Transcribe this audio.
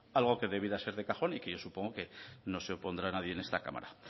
algo que debiera ser de cajón y que yo supongo no se opondrá nadie en esta cámara